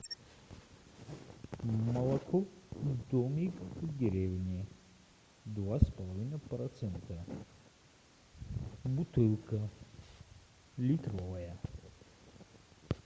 молоко домик в деревне два с половиной процента бутылка литровая